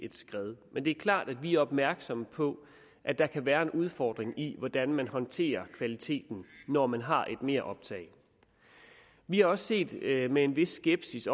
et skred men det er klart at vi er opmærksomme på at der kan være en udfordring i hvordan man håndterer kvaliteten når man har et meroptag vi har også set med en vis skepsis